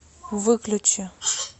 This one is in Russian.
выключи